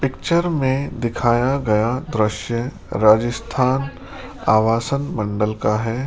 Picture में दिखाया गया दृश्य राजस्थान आवासन मंडल का है।